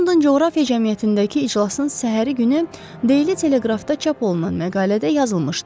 London Coğrafiya Cəmiyyətindəki iclasın səhəri günü Deyli Teleqrafda çap olunan məqalədə yazılmışdı.